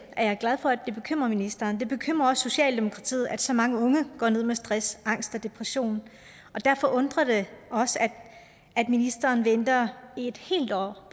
er glad for at det bekymrer ministeren det bekymrer også socialdemokratiet at så mange unge går ned med stress angst og depression og derfor undrer det også at ministeren venter et helt år